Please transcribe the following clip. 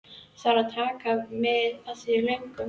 Þarf ekki að taka mið af því í lögunum?